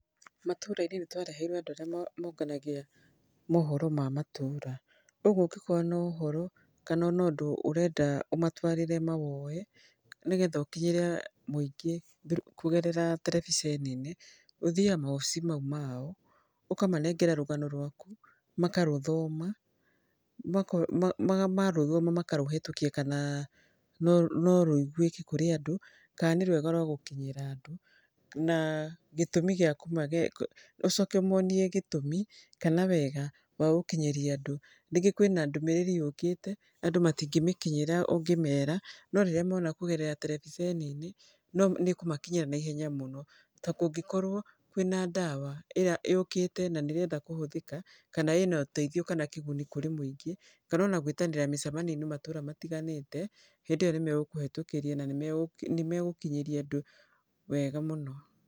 Matũra-inĩ nĩtwareheirwo andũ arĩa monganagia mohoro ma matũra, ũguo ũngĩkorwo na ũhoro kana ũndũ ũrenda, ũmatwarĩre mawoye nĩgetha ũkinyĩre mũingĩ kũgerera terebiceni-inĩ ũthiyaga mawobici mau mao, ũkamanengere rũgano rwaku makarũthoma, marũthoma makarũhĩtũkia kana no rũigwĩke kũrĩ andũ kana nĩ rwega rwa gũkinyĩra andũ. Na gĩtũmi kĩa .. ũcoke ũmonie gĩtũmi kana wega wa gũkinyĩria andũ ningĩ kũrĩ na ndũmĩrĩri yũkĩte andũ matingĩmĩkinyĩra ũngĩmera no rĩrĩa mona kũgerera terebiceni-inĩ nĩkũmakinyĩra naihenya mũno. Ta kũngĩkorwo kwĩna ndawa ĩrĩa yũkĩte na nĩrenda kũhũthĩka na kana ĩna ũteithio kana ĩna kĩguni kũrĩ mũingĩ kana ona gwĩtanĩra mĩcemenioi-nĩ matũra matiganĩte hĩndĩ ĩyo nĩmegũkũhetũkĩria na nĩmegũkinyĩria andũ wega mũno.